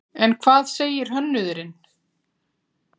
En hvað segir hönnuðurinn?